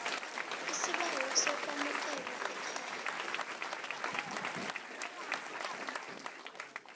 isibawo sokwamukelwa ekhaya